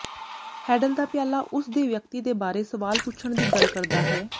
handle ਦਾ ਪਿਆਲਾ ਉਸ ਦੇ ਵਿਅਕਤੀ ਦੇ ਬਾਰੇ ਸਵਾਲ ਪੁੱਛਣ ਦੀ ਗੱਲ ਕਰਦਾ ਹੈ